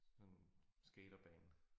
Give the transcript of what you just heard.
Sådan skaterbane